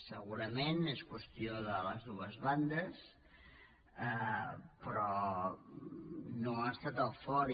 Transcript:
segurament és qüestió de les dues bandes però no ha estat el fort